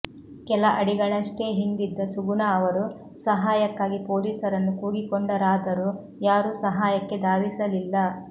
ಕೆಲ ಅಡಿಗಳಷ್ಟೇ ಹಿಂದಿದ್ದ ಸುಗುಣಾ ಅವರು ಸಹಾಯಕ್ಕಾಗಿ ಪೊಲೀಸರನ್ನು ಕೂಗಿಕೊಂಡರಾದರೂ ಯಾರೂ ಸಹಾಯಕ್ಕೆ ಧಾವಿಸಲಿಲ್ಲ